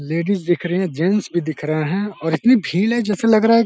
ladies दिख्र रहे हैं जैंट्स भी दिख रहे हैं और इतनी भील है जैसे लग रहा है --